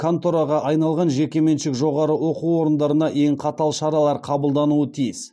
контораға айналған жекеменшік жоғары оқу орындарына ең қатал шаралар қабылдануы тиіс